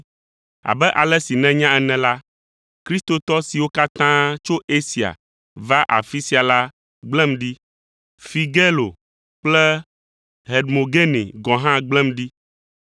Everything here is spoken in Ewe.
Abe ale si nènya ene la, kristotɔ siwo katã tso Asia va afi sia la gblẽm ɖi. Figelo kple Hermogene gɔ̃ ha gblẽm ɖi.